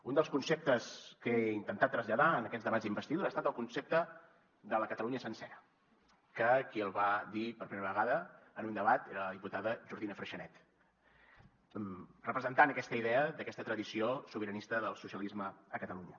un dels conceptes que he intentat traslladar en aquests debats d’investidura ha estat el concepte de la catalunya sencera que qui el va dir per primera vegada en un debat era la diputada jordina freixanet representant aquesta idea d’aquesta tradició sobiranista del socialisme a catalunya